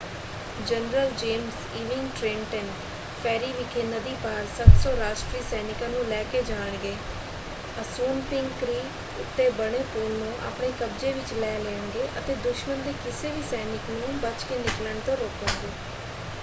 General James Ewing Trenton ferry ਵਿਖੇ ਨਦੀ ਪਾਰ 700 ਰਾਸ਼ਟਰੀ ਸੈਨਿਕਾਂ ਨੂੰ ਲੈ ਕੇ ਜਾਣਗੇ ਅਸੂਨਪਿੰਕ ਕ੍ਰੀਕ ਉੱਤੇ ਬਣੇ ਪੁਲ ਨੂੰ ਆਪਣੇ ਕਬਜ਼ੇ ਵਿੱਚ ਲੈ ਲੈਣਗੇ ਅਤੇ ਦੁਸ਼ਮਣ ਦੇ ਕਿਸੇ ਵੀ ਸੈਨਿਕ ਨੂੰ ਬੱਚ ਕੇ ਨਿਕਲਣ ਤੋਂ ਰੋਕਣਗੇ।